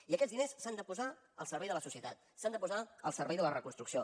i aquests diners s’han de posar al servei de la societat s’han de posar al servei de la reconstrucció